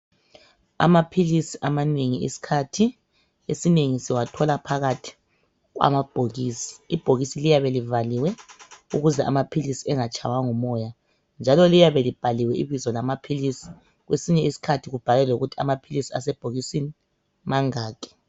Amaphilisi amanengi isikhathi esinengi siwathola phakathi kwamabhokisi. Ibhokisi liyabe livaliwe ukuze amaphilisi angatshaywa ngumoya njalo liyabe libhaliwe ibizo lamaphilisi kwesinye isikhathi kubhalwe lokuthi amaphilisi asebhokisini mangaki.